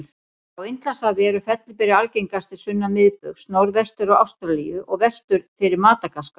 Á Indlandshafi eru fellibyljir algengastir sunnan miðbaugs, norðvestur af Ástralíu og vestur fyrir Madagaskar.